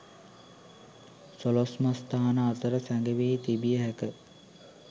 සොළොස්මස්ථාන අතර සැඟවී තිබිය හැක.